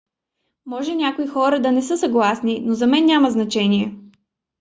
може някои хора да не са съгласни но за мен няма значение